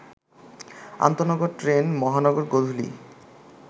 আন্তনগর train মহানগর গোধূলী